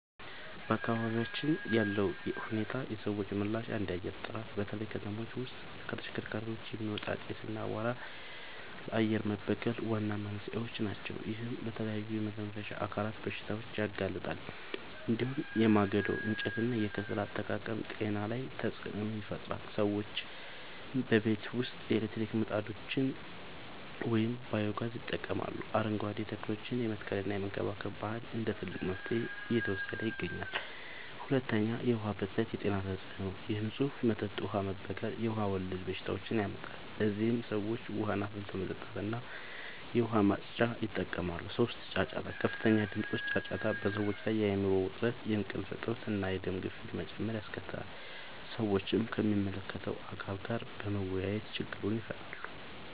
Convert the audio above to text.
በአካባቢያችን ያለው ሁኔታና የሰዎች ምላሽ፦ 1. የአየር ጥራት፦ በተለይ ከተሞች ውስጥ ከተሽከርካሪዎች የሚወጣ ጢስ እና አቧራ ለአየር መበከል ዋና መንስኤዎች ናቸው። ይህም ለተለያዩ የመተንፈሻ አካላት በሽታዎች ያጋልጣል። እንዲሁም የማገዶ እንጨትና የከሰል አጠቃቀም ጤና ላይ ተጽዕኖ ይፈጥራል። ሰዎችም በቤት ውስጥ የኤሌክትሪክ ምድጃዎችን ወይም ባዮ-ጋዝ ይጠቀማሉ፣ አረንጓዴ ተክሎችን የመትከልና የመንከባከብ ባህል እንደ ትልቅ መፍትሄ እየተወሰደ ይገኛል። 2. የዉሀ ብክለት የጤና ተጽዕኖ፦ የንጹህ መጠጥ ውሃ መበከል የውሃ ወለድ በሽታዎችን ያመጣል። ለዚህም ሰዎች ውሃን አፍልቶ መጠጣትና የዉሃ ማፅጃን ይጠቀማሉ። 3. ጫጫታ፦ ከፍተኛ ድምጾች (ጫጫታ) በሰዎች ላይ የአይምሮ ዉጥረት፣ የእንቅልፍ እጥረት፣ እና የደም ግፊት መጨመር ያስከትላል። ሰዎችም ከሚመለከተዉ አካል ጋር በመወያየት ችግሩን ይፈታሉ።